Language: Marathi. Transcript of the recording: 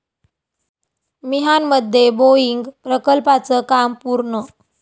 मिहानमध्ये बोईंग प्रकल्पाचं काम पूर्ण